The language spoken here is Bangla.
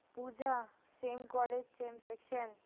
Puja same college same section